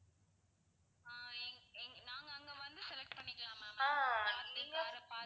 ஆஹ் எங்க~ எங்க நாங்க அங்க வந்து select பண்ணிக்கலாமா ma'am நாங்க car அ பாத்து